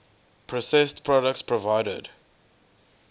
processed products provided